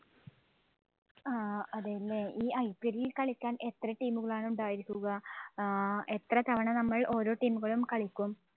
ആഹ് അതേല്ലേ, ഈ IPL ഇത് കളിക്കാന്‍ എത്ര team ആണ് ഉണ്ടായിരിക്കുക? ആഹ് എത്ര തവണ നമ്മള്‍ ഓരോ team ഉകളും കളിക്കും.